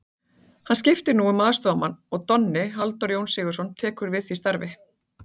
Hann skiptir nú um aðstoðarmann en Donni, Halldór Jón Sigurðsson, tekur við því starfi.